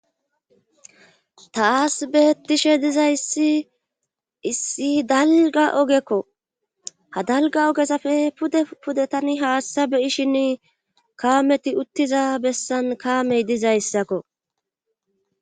ta asbeettishe dizayssi issi dalga ogekko ha dalga ogesafe pude pude tani haassa beyishinn kaameti uttiza bessan kaamey dizayssakko